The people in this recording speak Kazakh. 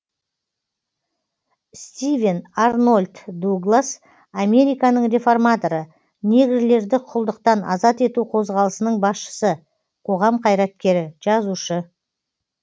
стивен арнольд дуглас американың реформаторы негрлерді құлдықтан азат ету қозғалысының басшысы қоғам қайраткері жазушы